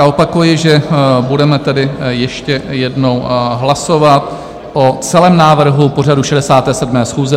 A opakuji, že budeme tedy ještě jednou hlasovat o celém návrhu pořadu 67. schůze